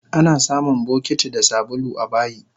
Anasamun bokiti da sabulu abayi